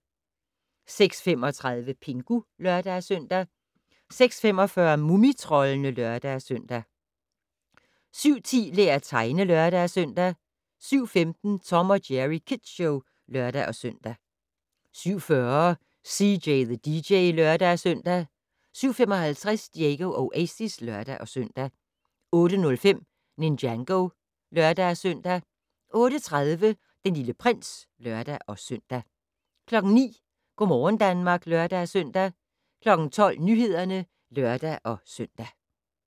06:35: Pingu (lør-søn) 06:45: Mumitroldene (lør-søn) 07:10: Lær at tegne (lør-søn) 07:15: Tom & Jerry Kids Show (lør-søn) 07:40: CJ the DJ (lør-søn) 07:55: Diego Oasis (lør-søn) 08:05: Ninjago (lør-søn) 08:30: Den Lille Prins (lør-søn) 09:00: Go' morgen Danmark (lør-søn) 12:00: Nyhederne (lør-søn)